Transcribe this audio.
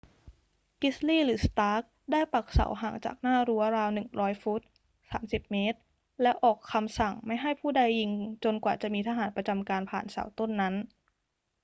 กริดลีย์ หรือ สตาร์ก ได้ปักเสาห่างจากหน้ารั้วราว 100 ฟุต 30 ม. และออกคำสั่งไม่ให้ผู้ใดยิงจนกว่าจะมีทหารประจำการผ่านเสาต้นนั้น